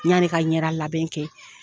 Yanni ka ɲɛdalabɛn kɛ